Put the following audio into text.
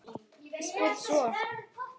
Spyr svo